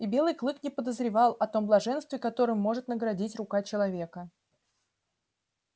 и белый клык не подозревал о том блаженстве которым может наградить рука человека